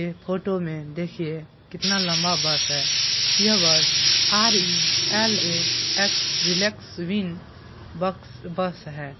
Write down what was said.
Photo में देखिए कितना लम्बा बस है यह bus R E L A X relax वेल बक्स बस है।